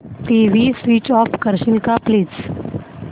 TV switch off करशील का please